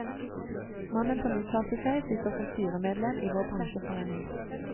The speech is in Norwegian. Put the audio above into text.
Mannen som uttalte seg, sitter som styremedlem i vår bransjeforening.